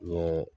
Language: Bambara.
N ye